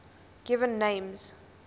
given names